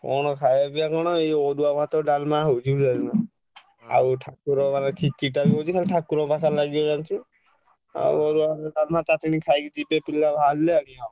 କଣ ଖାୟା ପିୟା କଣ ଏଇ ଅରୁଆ ଭାତ ଡାଲମା ହଉଛି ବୁଝିପାଇଲନା। ଆଉ ଠାକୁର ପାଖରେ ଖେଚେଡିଟା ବି ହଉଛି ଖାଲି ଠାକୁରଙ୍କ ପାଖରେ ଲାଗିବ ଜାଣିଛୁ। ଆଉ ଅରୁଆ ଭାତ ଡାଲେମା ଖାଇକି ଯିବେ ପିଲା ବାହାରିଲେ ଆଗେ ଆଉ।